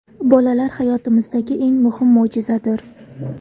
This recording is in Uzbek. Bolalar – hayotimizdagi eng muhim mo‘jizadir.